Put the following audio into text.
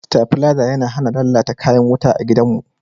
stabileza ya hana lallata kayan wuta a gidan mu